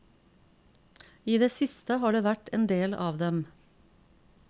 I det siste har det vært en del av dem.